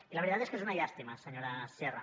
i la veritat és que és una llàstima senyora sierra